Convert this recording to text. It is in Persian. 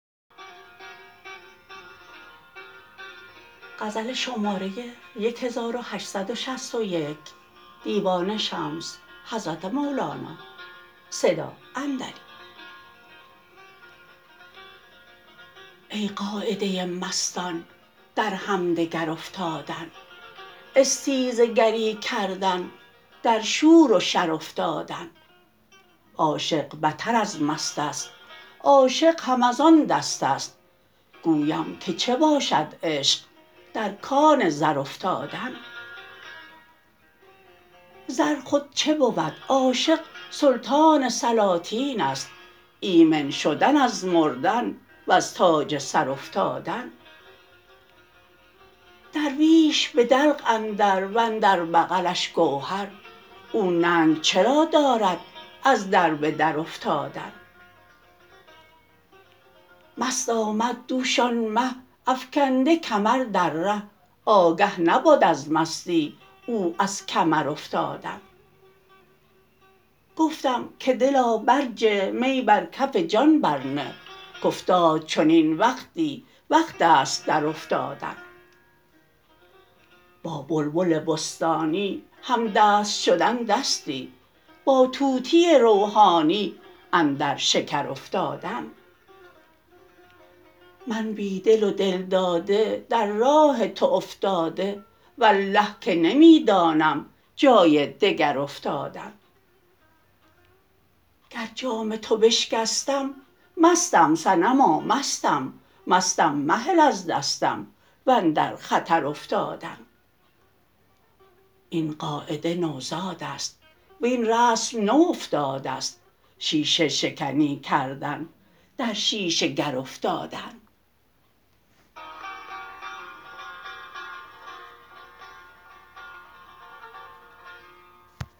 ای قاعده مستان در همدگر افتادن استیزه گری کردن در شور و شر افتادن عاشق بتر از مست است عاشق هم از آن دست است گویم که چه باشد عشق در کان زر افتادن زر خود چه بود عاشق سلطان سلاطین است ایمن شدن از مردن وز تاج سر افتادن درویش به دلق اندر و اندر بغلش گوهر او ننگ چرا دارد از در به در افتادن مست آمد دوش آن مه افکنده کمر در ره آگه نبد از مستی او از کمر افتادن گفتم که دلا برجه می بر کف جان برنه کافتاد چنین وقتی وقت است درافتادن با بلبل بستانی همدست شدن دستی با طوطی روحانی اندر شکر افتادن من بی دل و دل داده در راه تو افتاده والله که نمی دانم جای دگر افتادن گر جام تو بشکستم مستم صنما مستم مستم مهل از دستم و اندر خطر افتادن این قاعده نوزاد است وین رسم نو افتاده ست شیشه شکنی کردن در شیشه گر افتادن